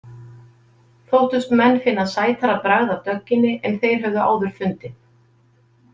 Þóttust menn finna sætara bragð af dögginni en þeir höfðu áður fundið.